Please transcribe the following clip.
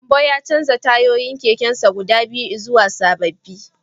Gambo ya canza tayoyin kekensa guda biyu zuwa sababbi